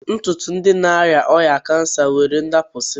Ntụtụ ndi na-arịa ọrịa kansa nwere ịdapụsị